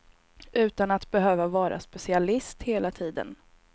Utan att behöva vara specialist hela tiden.